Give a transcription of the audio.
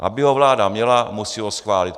Aby ho vláda měla, musí ho schválit.